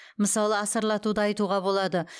мысалы асарлатуды айтуға болады